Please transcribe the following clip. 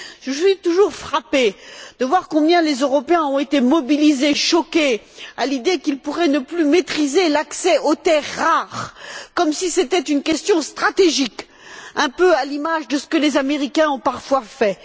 Je suis toujours frappée de voir combien les Européens ont été mobilisés et choqués à l'idée qu'ils pourraient ne plus maîtriser l'accès aux terres rares comme si c'était une question stratégique un peu à l'image de ce que les Américains ont parfois fait